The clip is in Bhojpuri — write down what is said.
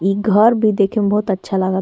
इ घर भी देखे में बहुत अच्छा लगत --